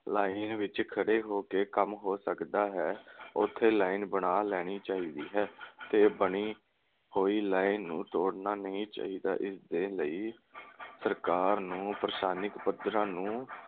line ਵਿਚ ਖੜੇ ਹੋ ਕੇ ਕੰਮ ਹੋ ਸਕਦਾ ਹੈ, ਉਥੇ line ਬਣਾ ਲੈਣੀ ਚਾਹੀਦੀ ਹੈ ਤੇ ਬਣੀ ਹੋਈ line ਨੂੰ ਤੋੜਨਾ ਨਹੀਂ ਚਾਹੀਦਾ। ਇਸ ਦੇ ਲਈ ਸਰਕਾਰ ਨੂੰ ਪੱਧਰਾ ਨੂੰ